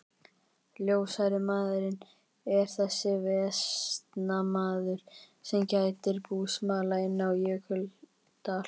Ljóshærði maðurinn er þessi vestanmaður, sem gætir búsmala inni á Jökuldal.